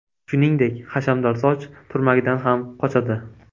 Shuningdek, hashamdor soch turmagidan ham qochadi.